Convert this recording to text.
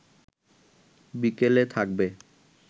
বিকেলে থাকবে